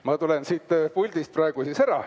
Ma tulen siit puldist praegu siis ära.